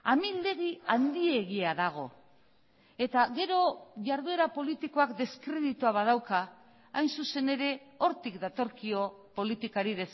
amildegi handiegia dago eta gero jarduera politikoak deskreditua badauka hain zuzen ere hortik datorkio politikari